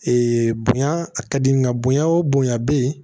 bonya a ka di nga bonya o bonya bɛ yen